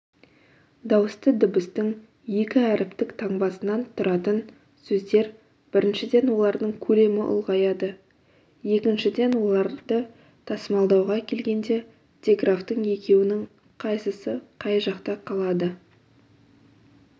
дауысты дыбыстың екі әріптік таңбасынан тұратын сөздер біріншіден олардың көлемі ұлғаяды екіншіден оларды тасымалдауға келгенде диграфтың екеуінің қайсысы қай жақта қалады